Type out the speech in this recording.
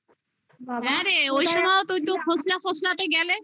হ্যাঁ রে ওই সময় তুই তো ফসলা ফসলাতে গেলে হুম